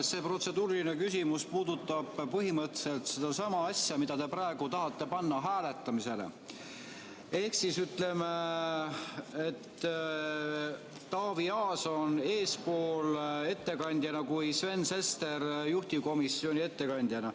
See protseduuriline küsimus puudutab põhimõtteliselt sedasama asja, mida te tahate panna hääletamisele, ehk seda, et Taavi Aas oleks ettekandjana eespool kui Sven Sester juhtivkomisjoni esindajana.